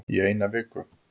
Í eina viku